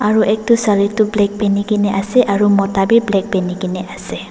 aru etu sari tu black peheni kina ase aru mota bhi black peheni kina ase.